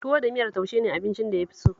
Tuwo da miyar taushe ne abincin da ya fi so